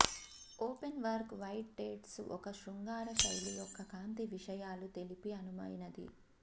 openwork white tights ఒక శృంగార శైలి యొక్క కాంతి విషయాలు కలిపి అనువైనవి